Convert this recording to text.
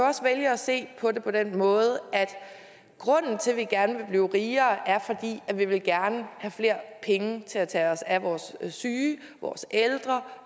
også vælge at se på det på den måde at grunden til at vi gerne vil blive rigere er at vi gerne vil have flere penge til at tage os af vores syge vores ældre